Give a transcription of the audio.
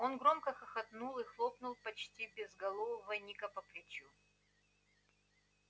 он громко хохотнул и хлопнул почти безголового ника по плечу